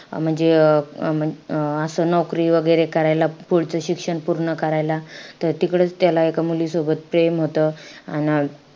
म्हणजे अं अं असं नौकरी वैगेरे करायला, पुढचं शिक्षण पूर्ण करायला, त तिकडचं त्याला एका मुलीसोबत प्रेम होतं. अन,